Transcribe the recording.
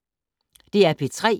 DR P3